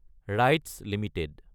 rights Ltd